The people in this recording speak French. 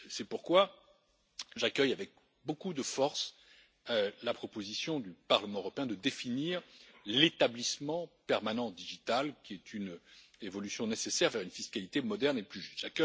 C'est pourquoi, j'accueille avec beaucoup de force la proposition du Parlement européen de définir l'établissement permanent numérique qui est une évolution nécessaire vers une fiscalité moderne et plus juste.